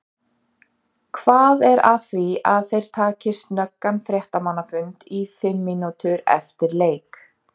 Hvað er að því að þeir taki snöggan fréttamannafund í fimm mínútur eftir leik?